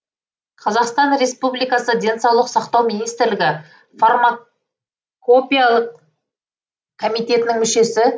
қазақстан республикасы денсаулық сақтау министірлігі фармакопиялық комитетінің мүшесі